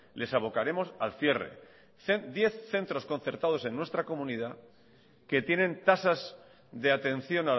les abocaremos al cierre diez centros concertados en nuestra comunidad que tienen tasas de atención